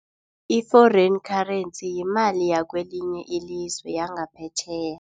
I-foreign currency yimali wakwelinye ilizwe yangaphetjheya.